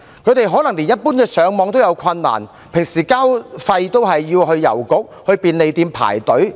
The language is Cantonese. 他們可能連一般的瀏覽互聯網也有困難，平時繳交費用也要到郵局和便利店排隊進行。